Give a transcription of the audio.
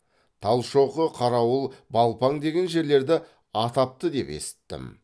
талшоқы қарауыл балпаң деген жерлерді атапты деп есіттім